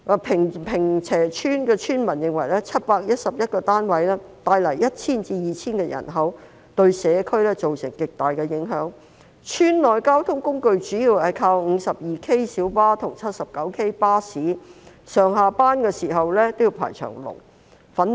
坪輋村村民認為711個單位會帶來 1,000 至 2,000 人口，對社區造成極大影響，村內交通工具主要靠 52K 小巴和 79K 巴士，上下班時間也要排長龍。